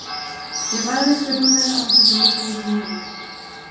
Ég lagðist í rúmið án þess að líta í kringum mig.